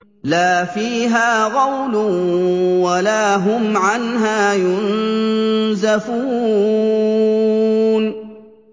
لَا فِيهَا غَوْلٌ وَلَا هُمْ عَنْهَا يُنزَفُونَ